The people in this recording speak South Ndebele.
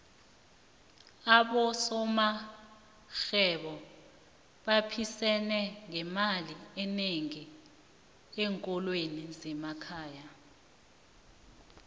abosomarhwebo baphisene ngemali enengi enkolweni zemakhaya